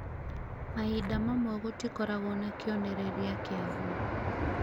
mahinda mamwe gũtikoragwo na kĩonereria kĩagũo